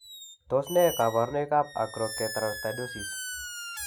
Tos achon kabarunaik ab Acrokeratoelastoidosis ?